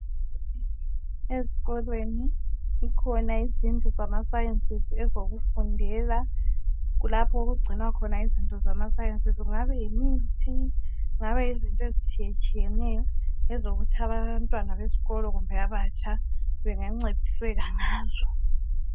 Ezikolweni zikhona izindlu zamaSciences. Ezokufundela. Kulapho okugcinwa khona izinto zamaSciences. . Kungaba yimithi kungaba yizinto ezitshiyetshiyeneyo, ezokuthi abanye abantwana besikolo, kumbe abatsha, bangancediseka ngazo.